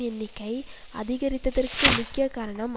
எண்ணிக்கை அதிகரித்ததற்கு முக்கிய காரணம்